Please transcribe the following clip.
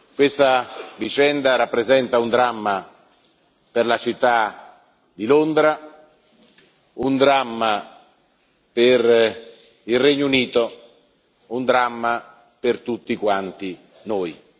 Questa vicenda rappresenta un dramma per la città di Londra, un dramma per il Regno Unito, un dramma per tutti quanti noi.